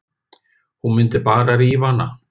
Hún mundi bara rífa hana.